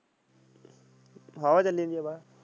ਹਾਂ ਹਵਾ ਚੱਲੀ ਜਾਂਦੀ ਆ ਬਾਹਰ।